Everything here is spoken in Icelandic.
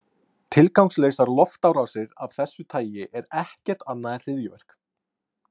Tilgangslausar loftárásir af þessu tagi eru ekkert annað en hryðjuverk.